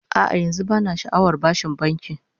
A'a, yanzu bana sha'awar bashin banki